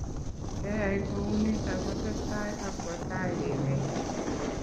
Keyai kounito kotesetai akwo tai emet